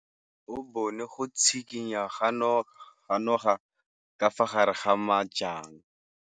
O bone go tshikinya ga noga ka fa gare ga majang.